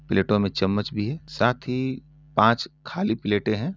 प्लेटो में चमच्च भी है साथ ही पांच खाली प्लेटे हैं।